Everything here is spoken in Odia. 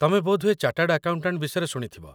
ତମେ ବୋଧହୁଏ ଚାଟର୍ଡ ଆକାଉଣ୍ଟାଣ୍ଟ ବିଷୟରେ ଶୁଣିଥିବ ?